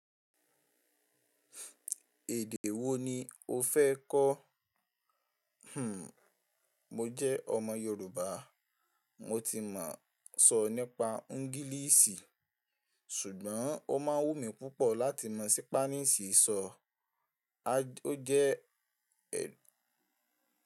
Èdè wo ni o fẹ́ kọ́? Mo jẹ́ ọmọ Yorùbá. Mo ti mọ̀ sọ nípa ede geesi, ṣùgbọ́n ó máa wù mí púpọ̀ láti mọ̀ ṣípánísì sọ. Ó jẹ́